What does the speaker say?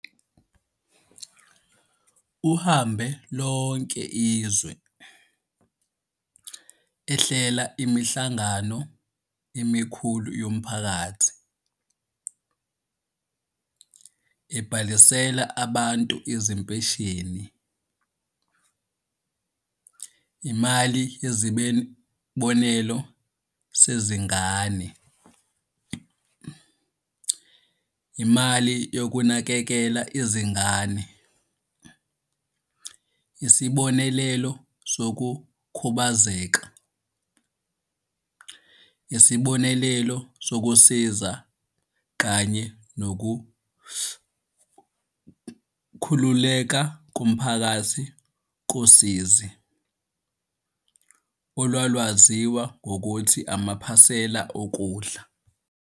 Uhambe lonke izwe, ehlela imihlangano emikhulu yomphakathi, ebhalisela abantu izimpesheni, imali yesibonelelo sezingane, imali yokunakekela izingane, isibonelelo sokukhubazeka, isibonelelo sokusiza kanye nokukhululeka komphakathi kosizi, olwalwaziwa ngokuthi amaphasela okudla.